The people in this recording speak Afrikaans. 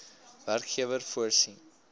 werkgewer voorsien